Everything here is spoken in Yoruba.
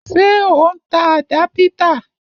Ṣé o n ta àdápítà?